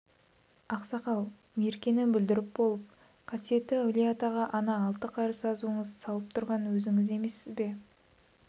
ақсақал меркені бүлдіріп болып қасиетті әулие-атаға ана алты қарыс азуыңызды салып тұрған өзіңіз емессіз бе